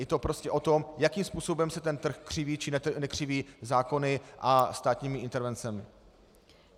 Je to prostě o tom, jakým způsobem se ten trh křiví, či nekřiví zákony a státními intervencemi.